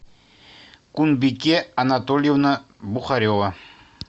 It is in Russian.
кульбике анатольевна бухарева